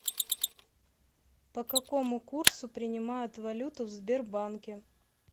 по какому курсу принимают валюту в сбербанке